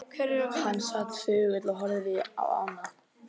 Hann sat þögull og horfði á ána.